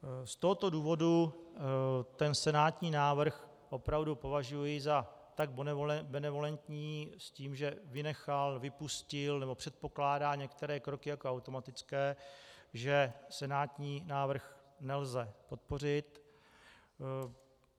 Z tohoto důvodu ten senátní návrh opravdu považuji za tak benevolentní, s tím, že vynechal, vypustil nebo předpokládá některé kroky jako automatické, že senátní návrh nelze podpořit.